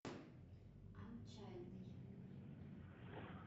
отчаянный